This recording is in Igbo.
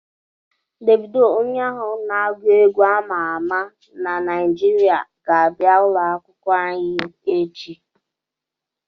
Devido onye ahụ n'agụ egwu ama ama na Naịjirịa ga-abịa ụlọ akwukwo anyi echi